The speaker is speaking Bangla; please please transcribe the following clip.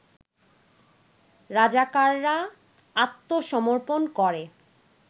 রাজাকাররা আত্মসমর্পন করে